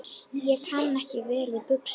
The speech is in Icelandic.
Ég kann vel við buxur.